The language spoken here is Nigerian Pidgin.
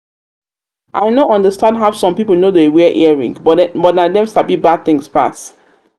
i no understand how some people no go dey wear earring but na dem sabi bad thing pass